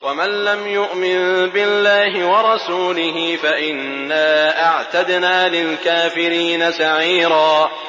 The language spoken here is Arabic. وَمَن لَّمْ يُؤْمِن بِاللَّهِ وَرَسُولِهِ فَإِنَّا أَعْتَدْنَا لِلْكَافِرِينَ سَعِيرًا